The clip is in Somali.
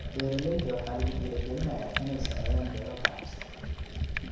Beeralayda waxaa lagu dhiirigelinayaa inay sameeyaan beero ganacsi.